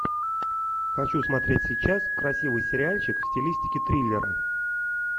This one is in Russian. хочу смотреть сейчас красивый сериальчик в стилистике триллера